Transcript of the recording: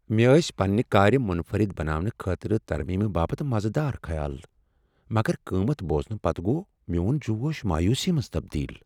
مےٚ ٲسۍ پننِہ كار منفرد بناونہٕ خٲطرٕ ترمیمہٕ باپتھ مزٕ دار خیال، مگر قۭمتھ بوزنہٕ پتہٕ گوٚو میٛون جوش مایوسی منٛز تبدیل۔